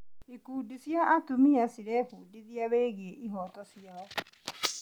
Ikundi cia atumia cirebundithia wĩgiĩ ihooto ciao.